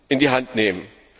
in die Hand nehmen.